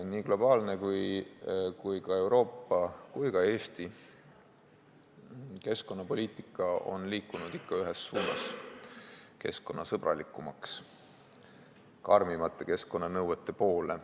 Nii globaalne, Euroopa kui ka Eesti keskkonnapoliitika on liikunud ikka ühes suunas: keskkonnasõbralikumaks, karmimate keskkonnanõuete poole.